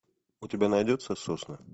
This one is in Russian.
у тебя найдется сосны